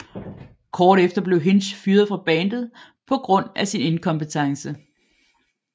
Kort efter blev Hinch fyret fra bandet på grund af sin inkompetence